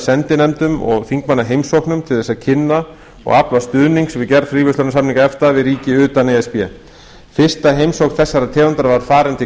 sendinefndum og þingmannaheimsóknum til þess að kynna og afla stuðnings við gerð fríverslunarsamninga efta við ríki utan e s b fyrsta heimsókn þessarar tegundar var farin til